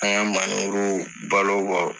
An y'an maneburuw balo bɔ